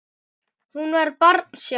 Hún var barn sjálf.